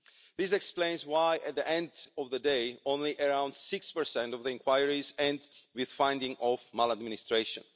This explains why, at the end of the day, only around 6 of the inquiries end with finding of maladministration.